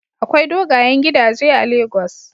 Akwai dogayen gidaje a Lagos.